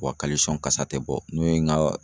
kasa tɛ bɔ n'o ye n ka